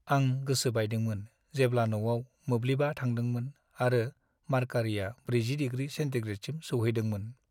आं गोसो बायदोंमोन जेब्ला न'आव मोब्लिबा थांदोंमोन आरो मार्कारिया 40 डिग्रि सेन्टिग्रेडसिम सौहैदोंमोन।